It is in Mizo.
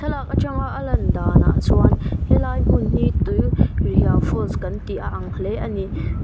thlalak atang a lan danah chuan helai hmun hi tui rihiau falls kan tih a ang hle ani.